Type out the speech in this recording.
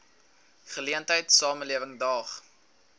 geleentheid samelewing daag